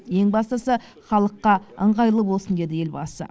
ең бастысы халыққы ыңғайлы болсын деді елбасы